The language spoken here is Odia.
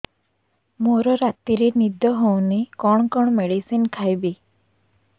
ମୋର ରାତିରେ ନିଦ ହଉନି କଣ କଣ ମେଡିସିନ ଖାଇବି